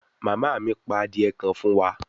Mama mi pa adie kan fun wa